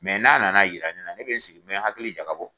Mɛ n'a nana jira ne na, n bɛ n sigi , mɛ hakili jakabɔ.